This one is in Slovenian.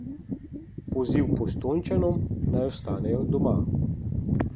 Poziv Postojnčanom, naj ostanejo doma.